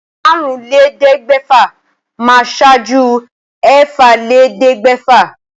Àrúnlélẹ́ẹ̀ẹ́dẹ́gbẹ́fà máa ṣáájú ẹ̀fàlélẹ́ẹ̀ẹ́dẹ́gbẹ́fà